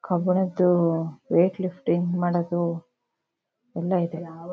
ಕಬ್ಬಣದು weight lifting ಮಾಡೋದು ಎಲ್ಲಾ ಇದೆ.